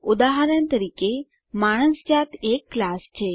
ઉદાહરણ તરીકે માણસ જાત એક ક્લાસ છે